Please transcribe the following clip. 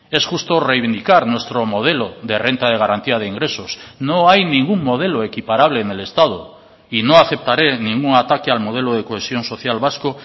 es justo reivindicar nuestro modelo de renta de garantía de ingresos no hay ningún modelo equiparable en el estado y no aceptaré ningún ataque al modelo de cohesión social vasco